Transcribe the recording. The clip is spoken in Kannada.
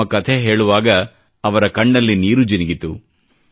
ತಮ್ಮ ಕಥೆ ಹೇಳುವಾಗ ಅವರ ಕಣ್ಣಲ್ಲಿ ನೀರು ಜಿನುಗಿತು